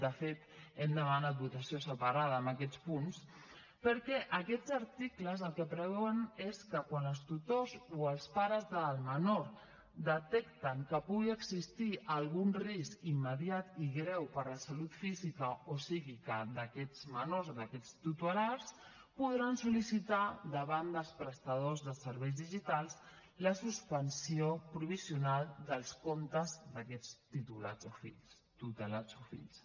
de fet hem demanat votació separada en aquests punts perquè aquests articles el que preveuen és que quan els tutors o els pares del menor detecten que pugui existir algun risc immediat i greu per a la salut física o psíquica d’aquests menors d’aquests tutelats podran sol·licitar davant dels prestadors de serveis digitals la suspensió provisional dels comptes d’aquests tutelats o fills